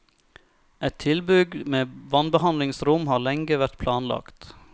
Et tilbygg med vannbehandlingsrom har lenge vært planlagt.